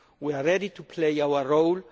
We are ready to play our role.